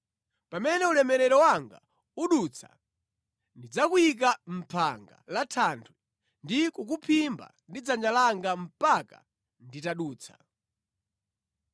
Pamene ulemerero wanga udutsa, ndidzakuyika mʼphanga la thanthwe ndi kukuphimba ndi dzanja langa mpaka nditadutsa.